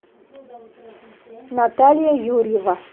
наталья юрьева